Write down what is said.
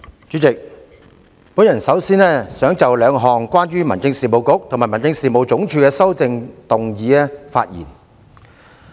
主席，我首先想就兩項關於民政事務局及民政事務總署的修正案發言。